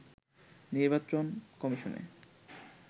নির্বাচন কমিশনে